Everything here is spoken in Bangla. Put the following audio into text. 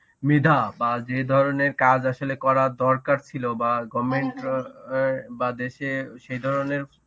মেধা বা যে ধরনের কাজ আসলে করার দরকার ছিল বা goverment অ্যাঁ বা দেশে সেই ধরনের